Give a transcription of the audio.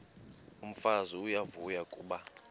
umfazi uyavuya kuba